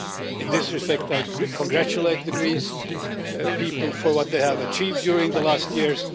In this respect I congratulate the Greek people for what they have achieved during recent years.